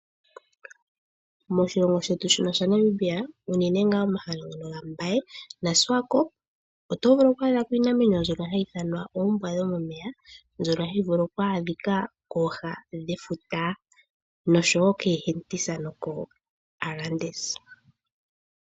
Moshilongo shetu shino shaNamibia unene ngaa momahala ngono gambaye naSwakop otovulu kwadha ko iinamwenyo mbyono hayi ithanwa oombwa dhomomeya, mbyono hayi vulu okwaadhika kooha dhefuta noshowo keeHentis nokoArandis.